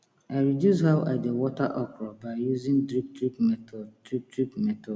i reduce how i dey water okra by using drip drip method drip drip method